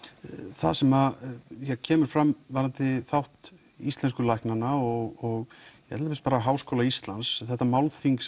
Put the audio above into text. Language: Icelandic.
það sem kemur fram varðandi þátt íslensku læknanna og Háskóla Íslands þetta málþing